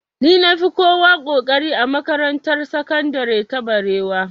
Ni na fi kowa ƙoƙari a makarantar sakandire ta barewa